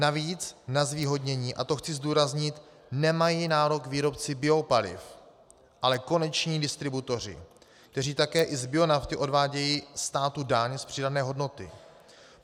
Navíc na zvýhodnění, a to chci zdůraznit, nemají nárok výrobci biopaliv, ale koneční distributoři, kteří také i z bionafty odvádějí státu daň z přidané hodnoty.